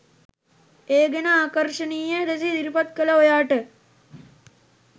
ඒ ගැන ආකර්ශණීය ලෙස ඉදිරිපත් කල ඔයාට